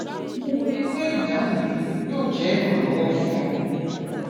mo wòye pé ìdáhùn mi yóò jẹ ìrànwọ fún ọ